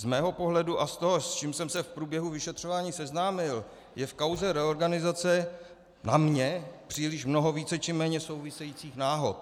Z mého pohledu a z toho, s čímž jsem se v průběhu vyšetřování seznámil, je v kauze reorganizace na mě příliš mnoho více či méně souvisejících náhod.